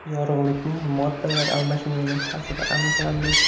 Yorug‘likning moddalar almashinuviga ta’siri aniqlandi.